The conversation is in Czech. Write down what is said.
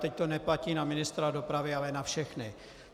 Teď to neplatí na ministra dopravy, ale na všechny.